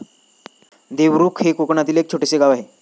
देवरुख हे कोकणातील एक छोटेसे गाव आहे.